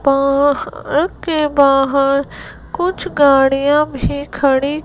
पाहाड़ के बाहर कुछ गाड़ियां भी खड़ी--